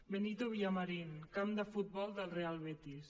benito villamarín camp de futbol del real betis